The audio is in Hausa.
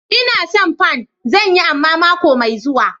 Ina son pan. Zan yi amma mako mai zuwa